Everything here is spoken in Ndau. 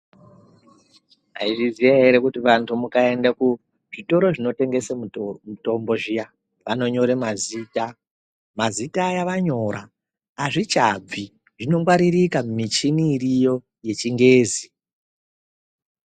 Maizviziya here kuti vantu mukaende kuzvitoro zvinotengese mitombo zviya vanonyore mazita. Mazita aya vanyora hazvichabvi zvinongwaririka kumichini iriyo yechingezi.